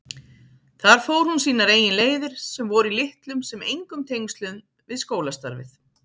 Þar fór hún sínar eigin leiðir sem voru í litlum sem engum tengslum við skólastarfið.